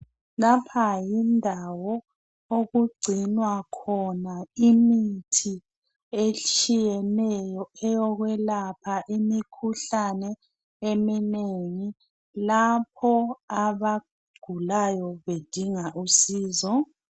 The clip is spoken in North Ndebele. Lapha yindawo okugcinwa khona imithi etshiyeneyo eyokwelapha imikhuhlane eminengi lapho abagulayo bedinga uncedo.